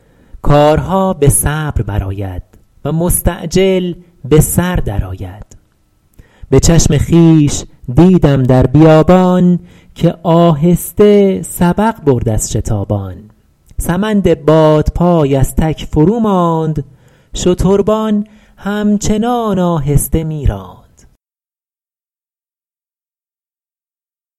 کارها به صبر بر آید و مستعجل به سر در آید به چشم خویش دیدم در بیابان که آهسته سبق برد از شتابان سمند بادپای از تک فرو ماند شتربان هم چنان آهسته می راند